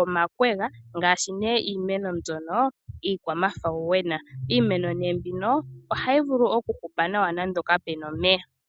omakwega ngaashi nee iimeno mbyono iikwa mafawuwena ,iimeno mbino ohayi vulu oku hupa nawa nando kapena omeya.